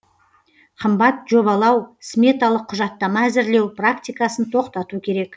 қымбат жобалау сметалық құжаттама әзірлеу практикасын тоқтату керек